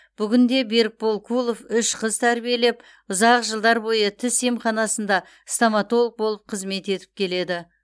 бүгінде берікбол кулов үш қыз тәрбиелеп ұзақ жылдар бойы тіс емханасында стоматолог болып қызмет етіп келеді